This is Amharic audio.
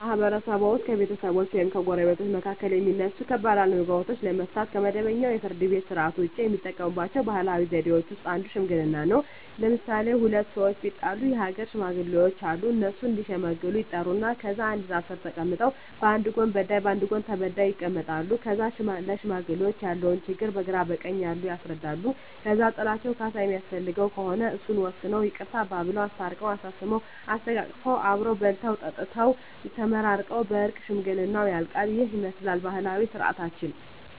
በማህበረሰብዎ ውስጥ በቤተሰቦች ወይም በጎረቤቶች መካከል የሚነሱ ከባድ አለመግባባቶችን ለመፍታት (ከመደበኛው የፍርድ ቤት ሥርዓት ውጪ) የሚጠቀሙባቸው ባህላዊ ዘዴዎች ውስጥ አንዱ ሽምግልና ነው። ለምሣሌ፦ ሁለት ሠዎች ቢጣሉ የአገር ሽማግሌዎች አሉ። እነሱ እዲሸመግሉ ይጠሩና ከዛ አንድ ዛፍ ስር ተቀምጠው በአንድ ጎን በዳይ በአንድ ጎን ተበዳይ ይቀመጣሉ። ከዛ ለሽማግሌዎች ያለውን ችግር በግራ በቀኝ ያሉት ያስረዳሉ። ከዛ ጥላቸው ካሣ የሚያስፈልገው ከሆነ እሱን ወስነው ይቅርታ አባብለው። አስታርቀው፤ አሳስመው፤ አሰተቃቅፈው አብረው በልተው ጠጥተው ተመራርቀው በእርቅ ሽምግልናው ያልቃ። ይህንን ይመስላል ባህላዊ ስርዓታችን።